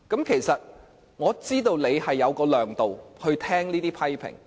其實我知道你有這種量度，可以聆聽這些批評。